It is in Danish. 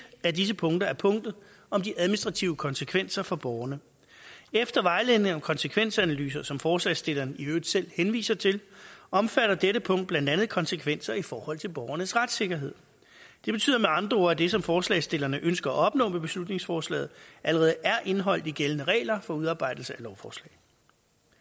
af disse punkter er punktet om de administrative konsekvenser for borgerne efter vejledning om konsekvensanalyser som forslagsstillerne i øvrigt selv henviser til omfatter dette punkt blandt andet konsekvenser i forhold til borgernes retssikkerhed det betyder med andre ord at det som forslagsstillerne ønsker at opnå med beslutningsforslaget allerede er indeholdt i gældende regler for udarbejdelse